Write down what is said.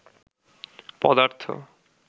পদার্থ